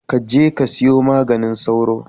Ka je ka siyo maganin sauro.